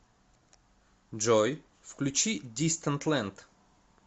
джой включи дистант лэнд